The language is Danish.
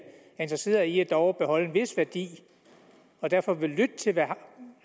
interesserede i dog at beholde en vis værdi og derfor vil lytte til hvad